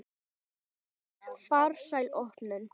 Farsæl opnun.